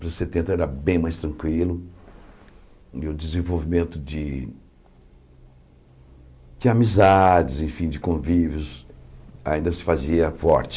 Anos setenta era bem mais tranquilo e o desenvolvimento de de amizades, enfim, de convívios ainda se fazia forte.